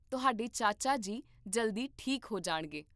ਤੁਹਾਡੇ ਚਾਚਾ ਜੀ ਜਲਦੀ ਠੀਕ ਹੋ ਜਾਣਗੇ